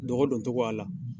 Dɔgɔ don togo a la